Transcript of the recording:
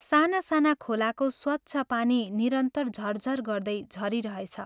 साना साना खोलाको स्वच्छ पानी निरन्तर झर्झर् गर्दै झरिरहेछ।